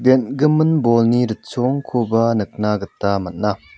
en·gimin bolni ritchongkoba nikna gita man·a.